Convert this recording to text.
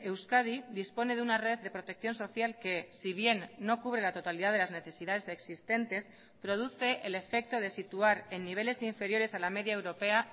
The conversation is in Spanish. euskadi dispone de una red de protección social que si bien no cubre la totalidad de las necesidades existentes produce el efecto de situar en niveles inferiores a la media europea